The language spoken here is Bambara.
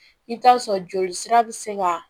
I bɛ taa sɔrɔ joli sira bɛ se ka